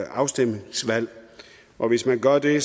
afstemningsvalg og hvis man gør det